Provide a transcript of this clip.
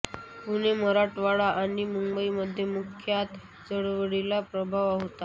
पुणे मराठवाडा आणि मुंबईमध्ये मुख्यत चळवळीचा प्रभाव होता